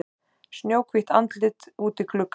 Snjóhvítt andlit úti í glugga.